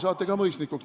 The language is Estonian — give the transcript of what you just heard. Saate ka mõisnikuks.